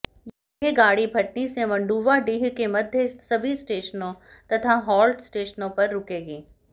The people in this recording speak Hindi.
यह गाड़ी भटनी से मंडुवाडीह के मध्य सभी स्टेशनों तथा हाल्ट स्टेशनों पर रूकेगी